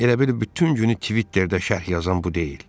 Elə bil bütün günü Twitterdə şərh yazan bu deyil.